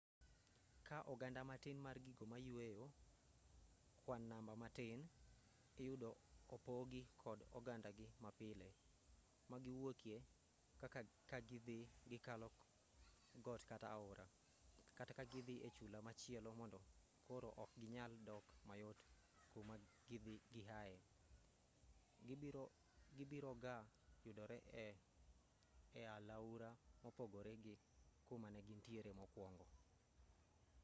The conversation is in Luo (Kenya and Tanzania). kaa oganda matin mar gigo mayueyo kwan namba matin iyudo opogi kod ogandagi mapile magiwuokie kaka kagidhi gikalo got kata aora kata kagidhi e chula machielo mondo koro ok ginyal dok mayot kumagihaye gibiroga yudore e aluora mopogore gi kumanegintie mokwongo